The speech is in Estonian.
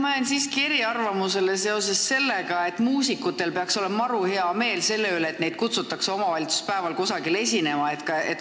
Ma jään siiski eriarvamusele selles, et muusikutel peaks olema maru hea meel selle üle, kui neid kutsutakse omavalitsuspäeval kusagile esinema.